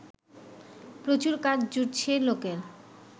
প্রচুর কাজ জুটছে লোকের